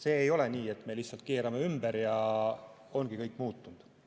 Ei ole nii, et me lihtsalt keerame ümber ja ongi kõik muutunud.